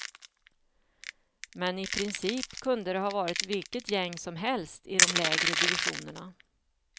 Men i princip kunde det ha varit vilket gäng som helst i de lägre divisionerna.